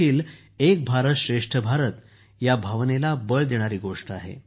ही देखील एक भारतश्रेष्ठभारत ह्या भावनेला बळ देते